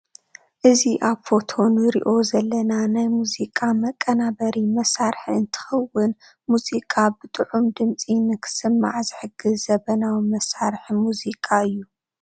እዚ ኣብ ፎቶ ንሪኦ ዘለና ናይ ሙዚቃ ምቅናብሪ መሳርሒ እንትክዉን ሙዚቃ ብጥዑም ድምፂ ንክስማዕ ዝሕግዝ ዝምናዊ ምሳርሒ ሙዚቃ እዩ ።